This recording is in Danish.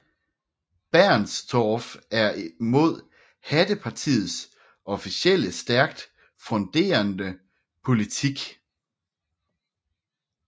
Bernstorff en mod Hattepartiets officielle stærkt fronderende politik